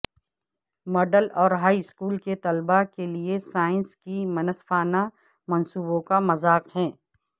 middle اور high school کے طلبا کے لئے سائنس کی منصفانہ منصوبوں کا مذاق ہے